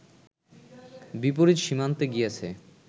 বিপরীত সীমান্তে গিয়াছে